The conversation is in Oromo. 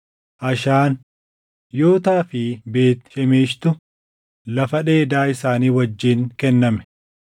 Ashaan, Yootaa fi Beet Shemeshitu lafa dheeda isaanii wajjin kenname.